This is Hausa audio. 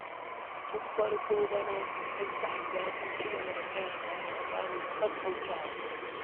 Tun farko bana ƴan ta’adda sun ci gaba kai hare-hare babu ƙaƙƙautawa.